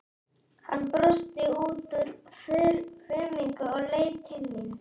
Hann brosti út úr fuminu og leit til mín.